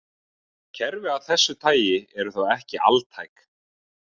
Kerfi af þessu tagi eru þó ekki altæk.